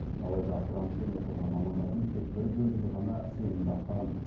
алайда грантпен оқыған мамандардың тек бір бөлігі ғана сенімді ақтаған